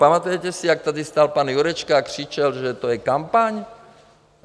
Pamatujete si, jak tady stál pan Jurečka a křičel, že to je kampaň?